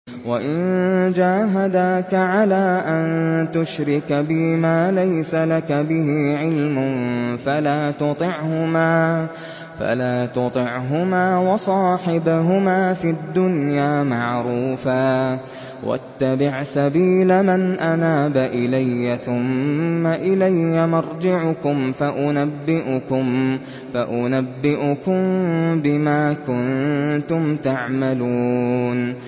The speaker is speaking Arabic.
وَإِن جَاهَدَاكَ عَلَىٰ أَن تُشْرِكَ بِي مَا لَيْسَ لَكَ بِهِ عِلْمٌ فَلَا تُطِعْهُمَا ۖ وَصَاحِبْهُمَا فِي الدُّنْيَا مَعْرُوفًا ۖ وَاتَّبِعْ سَبِيلَ مَنْ أَنَابَ إِلَيَّ ۚ ثُمَّ إِلَيَّ مَرْجِعُكُمْ فَأُنَبِّئُكُم بِمَا كُنتُمْ تَعْمَلُونَ